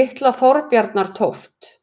Litla-Þorbjarnartóft